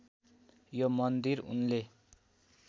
यो मन्दिर उनले